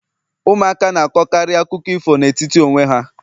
Ụmụaka na-akọkarị akụkọ ifo n'etiti onwe ha